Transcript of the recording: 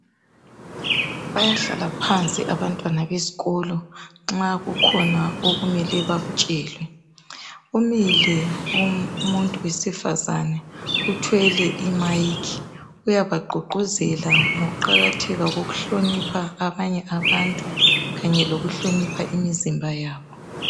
Bayahlala phansi abantwana besikolo nxa kukhona okumele bakutshelwe. Umile umuntu wesifazana, uthwele imayikhi. Uyabagqugquzela ngokuqakatheka kokuhlonipha abanye abantu kanye lokuhlonipha imizimba yabo.